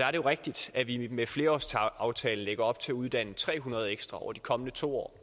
er jo rigtigt at vi med flerårsaftalen lægger op til at uddanne tre hundrede ekstra betjente over de kommende to år